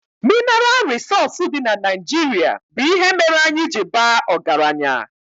Minaral rịsọọsụ dị na Naijirịa bụ ihe mere anyị ji baa ọgaranya